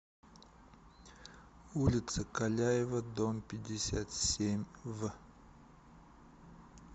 улица каляева дом пятьдесят семь в